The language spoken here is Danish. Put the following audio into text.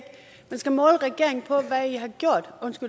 skal måle regeringen på